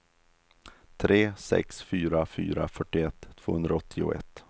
tre sex fyra fyra fyrtioett tvåhundraåttioett